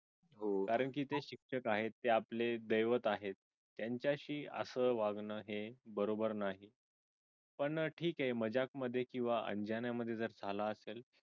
हो कारण ते शिक्षक आहेत ते आपले दैवत आहे त्यांच्याशी असं वागणं हे बरोबर नाही पण ठीक आहे मजाक मध्ये किंवा अंजाना मध्ये जर झाल असेल